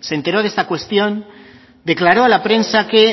se enteró de esta cuestión declaró a la prensa que